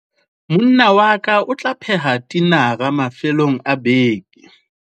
monna wa ka o tla pheha tinara mafelong a beke